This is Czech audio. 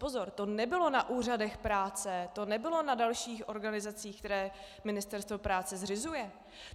Pozor, to nebylo na úřadech práce, to nebylo na dalších organizacích, které Ministerstvo práce zřizuje.